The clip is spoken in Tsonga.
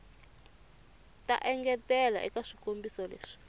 ta engetela eka swikombiso leswi